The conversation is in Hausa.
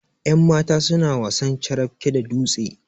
yanmata suna wasan carafke da dutse